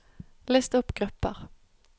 list opp grupper